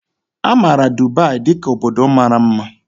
A maara Dubai dị ka obodo mara mma